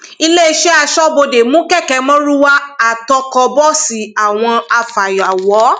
iléeṣẹ aṣọbodè mú kẹkẹ márúwá àtọkọ bọọsì àwọn afàyàwọ